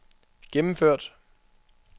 gennemført